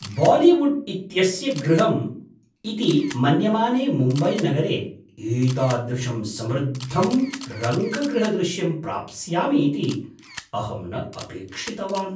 Bollywood इत्यस्य गृहम् इति मन्यमाने मुम्बैनगरे एतादृशं समृद्धं रङ्गगृहदृश्यं प्राप्स्यामि इति अहं न अपेक्षितवान्।